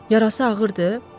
Yarası ağırdır?